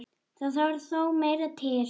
Það þarf þó meira til.